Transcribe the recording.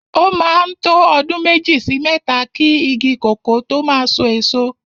O máa ń tó ọdún méjì sí mẹ́ta ki igi kòkó tó máa so èso.